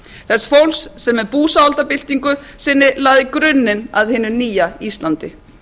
þess fólks sem með búsáhaldabyltingu sinni lagði grunninn að hinu nýja íslandi